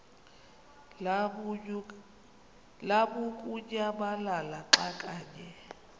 lamukunyamalala xa kanye